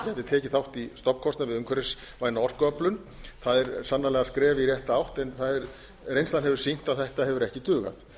tekið þátt í stofnkostnaði við umhverfisvæna orkuöflun það er sannarlega skref í rétta átt en reynslan hefur sýnt að þetta hefur ekki dugað